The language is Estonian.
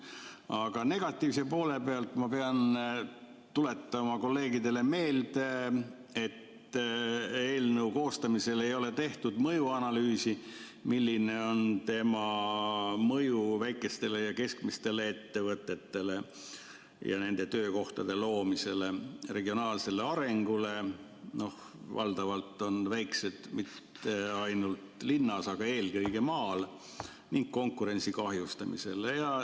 Aga negatiivse poole pealt ma pean tuletama kolleegidele meelde, et eelnõu koostamisel ei tehtud mõjuanalüüsi selle kohta, milline on tema mõju väikestele ja keskmistele ettevõtetele ja töökohtade loomisele, regionaalsele arengule – valdavalt ei ole väikesed ettevõtted mitte linnas, vaid eelkõige maal – ning konkurentsi kahjustamisele.